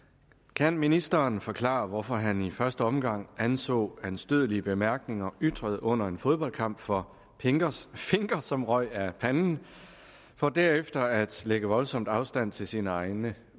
kan ministeren forklare hvorfor han i første omgang anså anstødelige bemærkninger ytret under en fodboldkamp for finker som røg af panden for derefter at lægge voldsomt afstand til sine egne